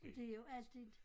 Og det jo alt det